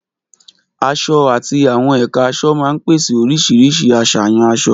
Aṣọ àti àwọn ẹ̀ka aṣọ máa ń pèsè oríṣiríṣi àṣàyàn aṣọ.